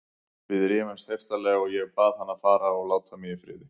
Við rifumst heiftarlega og ég bað hann að fara og láta mig í friði.